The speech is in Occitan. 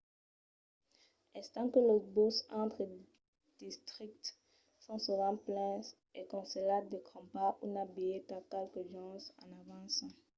estant que los buses entre districtes son sovent plens es conselhat de crompar una bilheta qualques jorns en avança